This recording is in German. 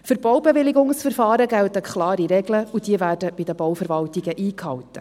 Für die Baubewilligungsverfahren gelten klare Regeln und diese werden bei den Bauverwaltungen eingehalten.